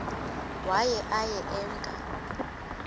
waye aye emke